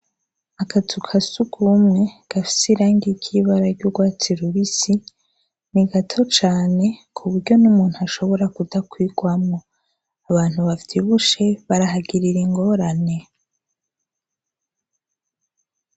Akazu ka surwumwe gafise irangi ry'ibara ry'urwatsi rubisi, ni gato cane ku buryo n'umuntu ashobora kudakwirwamwo. Abantu bavyibushe barahagirira ingorane.